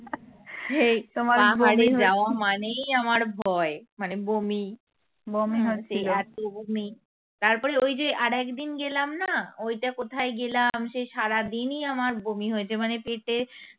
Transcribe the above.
পাহাড়ে যাওয়া মানেই আমার ভয় মানে বমি সে এত বমি তারপরে ওই যে আরেকদিন গেলাম না ওই যে কোথায় গেলাম সেই সারাদনিই আমার বমি হয়েছে মানে পেটে